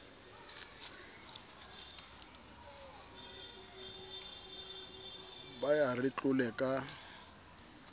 ba ya re tlole ka